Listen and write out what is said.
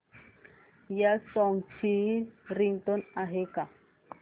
या सॉन्ग ची रिंगटोन आहे का